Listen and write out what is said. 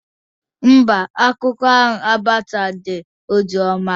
Mba, akụkọ ahụ agbasaghị ozi ọma